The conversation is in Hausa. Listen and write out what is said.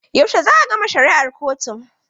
Yaushe za a gama shari'ar kotun?